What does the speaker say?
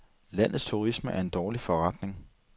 Landets turisme er en dårlig forretning.